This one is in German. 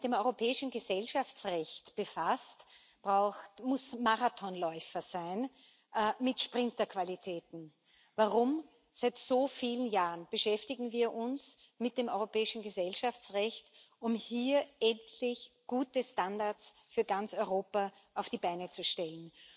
Wer sich mit dem europäischen Gesellschaftsrecht befasst, muss Marathonläufer sein mit Sprinterqualitäten. Warum? Seit so vielen Jahren beschäftigen wir uns mit dem europäischen Gesellschaftsrecht, um hier endlich gute Standards für ganz Europa auf die Beine zu stellen.